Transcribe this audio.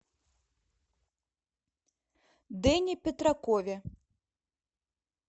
дэне петракове